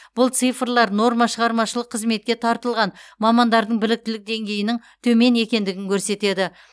бұл цифрлар нормашығармашылық қызметке тартылған мамандардың біліктілік деңгейінің төмен екендігін көрсетеді